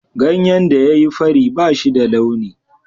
Ganyen da ya yi fari ba shi da launi.